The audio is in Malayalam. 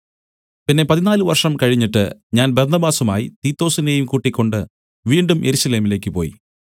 പിന്നെ പതിനാല് വർഷം കഴിഞ്ഞിട്ട് ഞാൻ ബർന്നബാസുമായി തീത്തൊസിനെയും കൂട്ടിക്കൊണ്ട് വീണ്ടും യെരൂശലേമിലേക്കു പോയി